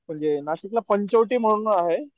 नाशिकला पंचवटी म्हणून आहे